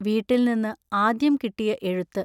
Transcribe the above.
വീട്ടിൽ നിന്ന് ആദ്യം കിട്ടിയ എഴുത്ത്.